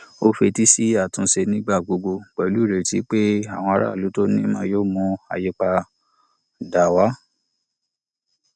ó fetí sí àtúnṣe nígbà gbogbo pẹlú ireti pé àwọn aráàlú to ní ìmọ yóò mú àyípadà wá